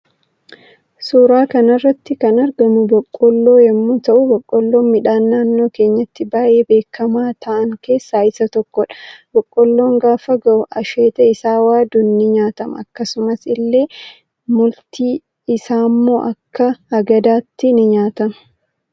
Suuraa kanarratti kan argamu boqqoolloo yommuu ta'u boqqollon miidhaan naannoo keenyatti baay'ee beekama ta'an keessa isa tokkodha. Boqqolloon gaafa gahu asheeta isa waaduun ni nyaatama akkasumas ille multi isammo Akka hagadaatti ni nyaatama.